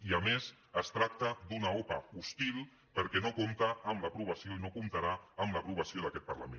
i a més es tracta d’una opa hostil perquè no compta amb l’aprovació i no comptarà amb l’aprovació d’aquest parlament